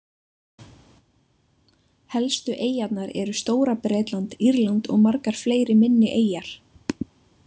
Helstu eyjarnar eru Stóra-Bretland, Írland og margar fleiri minni eyjar.